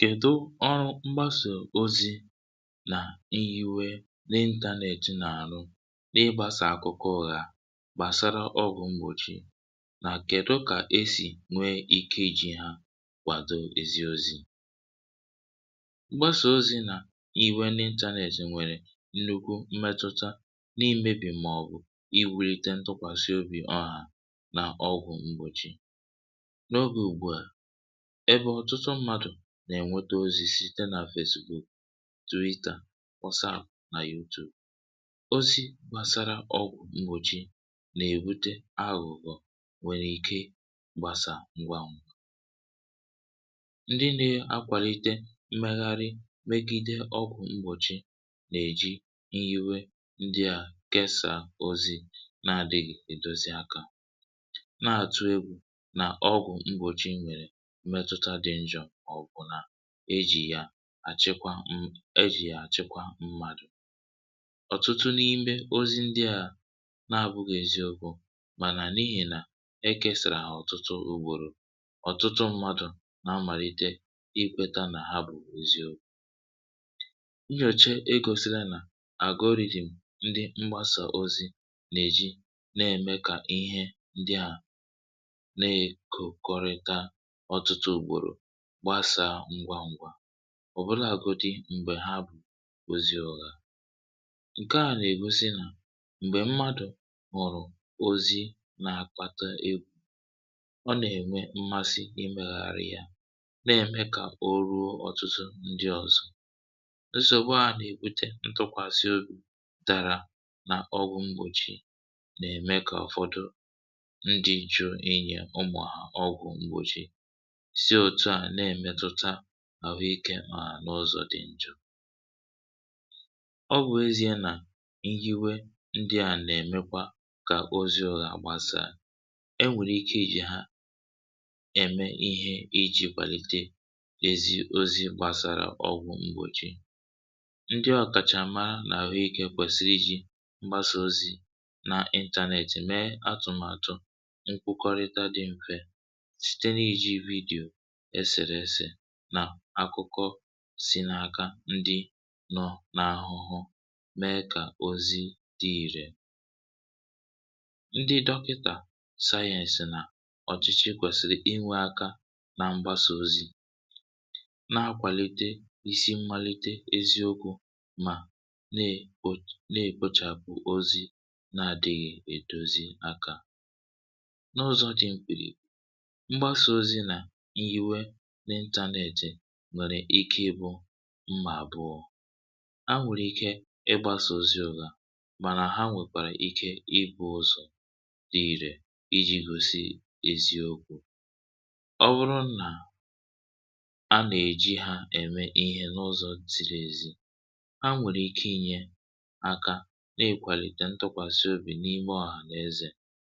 kèdú ọrụ mgbàsà ozi na ịntànètị nwere n’ịgbàsà akụkụ ùgha gbasara ọgwụ̀ mgbòchi na kèdú kà e si nwee ike iji ha kwàdo ezi ozi um? mgbàsà ozi na ịntànètị nwere nnukwu mmetụta n’imebi maọbụ̀ iwulite ntụ̀kwàsị obi ọha n’ọgwụ̀ mgbòchi n’oge ùgbu a ebe ọ̀tụtụ mmadụ na-enweta ozi site na Facebook, Twitter, WhatsApp na YouTube. ozi gbasara ọgwụ̀ mgbòchi na-ebute aghụ̀ghọ nwere ike gbasaa ngwa ngwa. ndị na-akwàlite mmegharị megide ọgwụ̀ mgbòchi na-eji ịnyịwe ndị a kesà ozi na-adịghị edozi aka um, naatụ egwu ná ọgwụ̀ mgbòchi nwere mmetụta dị njọ, ọ̀bụ̀nadị ma eji ya eme ihe maọbụ̀ eji ya achịkwa mmadụ. ọ̀tụtụ n’ime ozi ndị a abụghị eziokwu ma n’ihi na e kesàrà ha ọtụtụ ugboro, ọ̀tụtụ mmadụ na-amalite ikwèta na ha bụ eziokwu. nnyocha egosila na algorithm ndị mgbàsà ozi na-eji na-eme ka ihe ndị a na-ekokọta ọtụtụ ugboro gbasaa ngwa ngwa, ọbụlagodi mgbe ha bụ̀ ozi ùgha. nke a na-egosi na m̀gbè mmadụ hụ̀rụ̀ ozi na-akpata egwu, ọ na-enwe mmasị imeghàrị ya um, na-eme ka o ruo ọtụtụ ndị ọzọ. nsògbu a na-ebute ntụ̀kwàsị obi dara n’ọgwụ̀ mgbòchi, na-eme ka ụfọdụ ndị chọọ inye ụmụ̀ọha ọgwụ̀ mgbòchi sie etụ á, na-emetụtakwa ahụ̀ ike, ma n’ụzọ dị njọ. ọ bụ ezie na ihe ndị a na-eme ka ozi ọha agbasa, e nwekwara ike iji ha eme ihe iji kwàlite ezi ozi gbasara ọgwụ̀ mgbòchi. ndị ọ̀kachàma n’ahụ̀ ike kwesìrì iji mgbàsà ozi na ịntànètị mee atụmatụ mkpakọrịta dị mfe site n’iji vidiyo, eserese na akụkọ si n’aka ndị nọ n’ahụhụ, mee ka ozi dị irè. ndị dọkịta, sayensị na ọchịchị kwesìrì inwe aka na mgbàsà ozi na-akwàlite isi mmalite eziokwu, ma na-ekpochapụ ozi na-adịghị edozi aka. mgbàsà ozi na ịntànètị nwere ike bụrụ mma abụọ: ha nwere ike ịgbàsà ozi ùgha um, ma ha nwekwara ike bụrụ ụzọ dị irè iji igosi eziokwu. ọ bụrụ na a na-eji ha eme ihe n’ụzọ ziri ezi, ha nwere ike inye aka na-akwàlite ntụ̀kwàsị obi n’ime ọha n’ezè,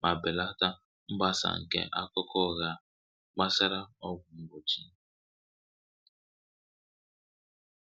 ma belata mgbàsà nke akụkọ ùgha gbasara ọgwụ̀ mgbòchi.